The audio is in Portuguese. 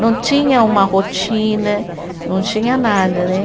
Não tinha uma rotina, não tinha nada, né?